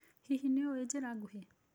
Hihi nĩ ũĩ njĩra nguhĩ?